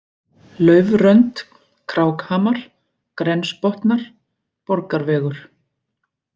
Laufrönd, Krákhamar, Grensbotnar, Borgarvegur